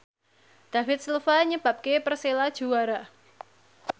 David Silva nyebabke Persela juara